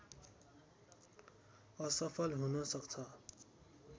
असफल हुन सक्छ